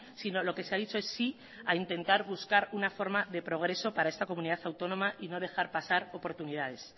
sino lo que se a dicho sí a intentar buscar una forma de progreso para esta comunidad autónoma y no dejar pasar oportunidades